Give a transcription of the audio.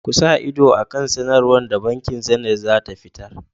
Ku sa ido a kan sanarwar da bankin Zenith zata fitar.